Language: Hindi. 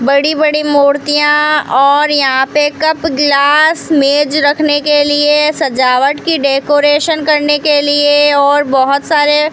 बड़ी बड़ी मूर्तियां और यहां पे कप गिलास मेज रखने के लिए सजावट की डेकोरेशन करने के लिए और बहुत सारे --